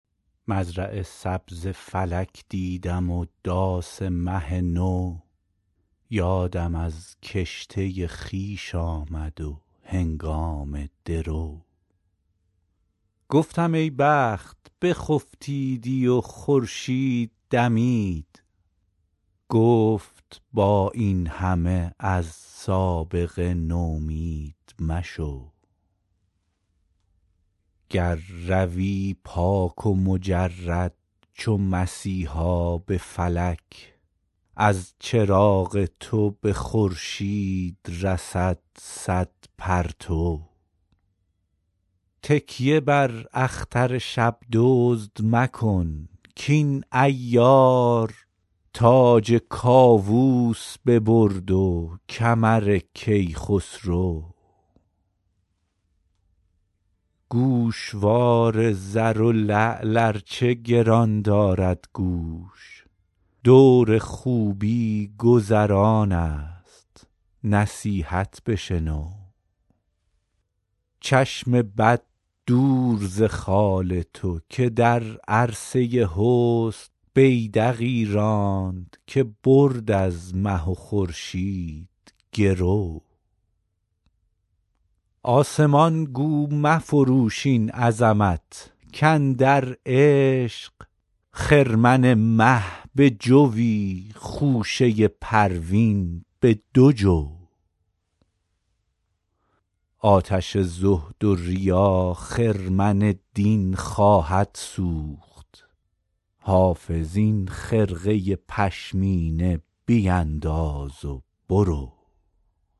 مزرع سبز فلک دیدم و داس مه نو یادم از کشته خویش آمد و هنگام درو گفتم ای بخت بخفتیدی و خورشید دمید گفت با این همه از سابقه نومید مشو گر روی پاک و مجرد چو مسیحا به فلک از چراغ تو به خورشید رسد صد پرتو تکیه بر اختر شب دزد مکن کاین عیار تاج کاووس ببرد و کمر کیخسرو گوشوار زر و لعل ار چه گران دارد گوش دور خوبی گذران است نصیحت بشنو چشم بد دور ز خال تو که در عرصه حسن بیدقی راند که برد از مه و خورشید گرو آسمان گو مفروش این عظمت کاندر عشق خرمن مه به جوی خوشه پروین به دو جو آتش زهد و ریا خرمن دین خواهد سوخت حافظ این خرقه پشمینه بینداز و برو